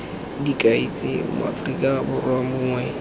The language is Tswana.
dikai tse moaforika borwa mongwe